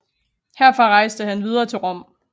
Herfra rejste han videre til Rom